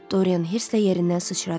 Doryan hırsla yerindən sıçradı.